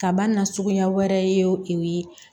Kabana suguya wɛrɛ ye o ye